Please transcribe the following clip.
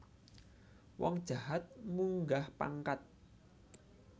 Wong jahat munggah pangkat